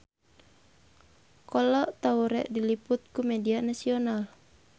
Kolo Taure diliput ku media nasional